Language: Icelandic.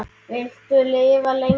Viltu lifa lengi?